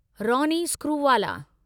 Ronnie Screwvala